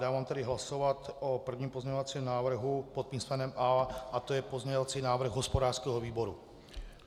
Dávám tedy hlasovat o prvním pozměňovacím návrhu pod písmenem A a to je pozměňovací návrh hospodářského výboru.